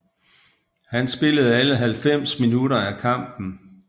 Han spillede alle halvfems minutter af kampen